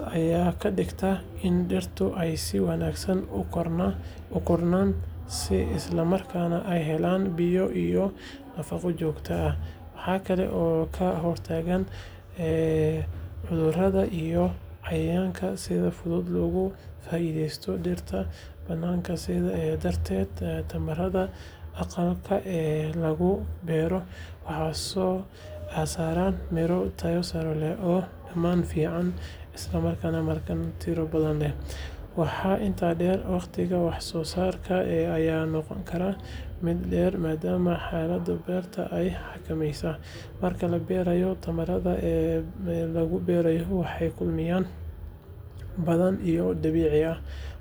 ayaa ka dhigaysa in dhirta ay si wanaagsan u koraan, isla markaana ay helaan biyo iyo nafaqo joogto ah. Waxa kale oo ka hortagtaa cudurada iyo cayayaanka sida fudud uga faa’iidaysta dhirta bannaanka. Sidaas darteed, tamaandhada aqalka lagu beeray waxay soo saaraan miro tayo sare leh, oo dhadhan fiican leh isla markaana tiro badan. Waxaa intaa dheer, waqtiga wax soo saarka ayaa noqon kara mid dheer maadaama xaaladaha beerta la xakameynayo. Marka la barbardhigo, tamaandhada bannaanka lagu beero waxay la kulmaan caqabado badan oo dabiici ah, taas oo keenta in mararka qaar wax soo saarkoodu yaraado ama tayo ahaan hooseeyo. Sidaa darteed, beerista tamaandhada aqalka dhirta lagu koriyo waxay noqotaa doorasho aad u wanaagsan oo kor u qaada wax soo saarka iyo tayada mirooyinka.